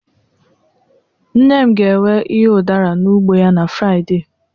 nne m ga-ewe ihe udara n'ugbo ya na Friday